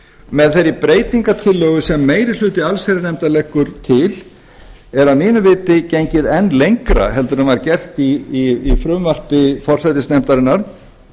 með þeirri breytingartillögu sem meiri hluti allsherjarnefndar leggur til er að mínu viti gengið enn lengra en var gert í frumvarpi forsætisnefndarinnar